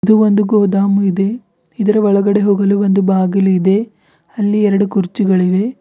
ಇದು ಒಂದು ಗೋದಾಮು ಇದೆ ಇದರ ಒಳಗಡೆ ಹೋಗಲು ಒಂದು ಬಾಗಿಲು ಇದೆ ಅಲ್ಲಿ ಎರಡು ಕುರ್ಚಿಗಳಿವೆ.